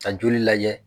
Ka joli lajɛ